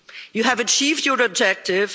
You have achieved your objective.